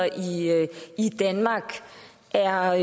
i danmark er